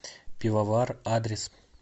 пивовар адрес